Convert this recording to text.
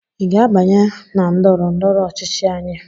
ị ga-abanye na ndọrọ ndọrọ ọchịchị anyị?